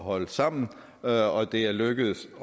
holde sammen og det er lykkedes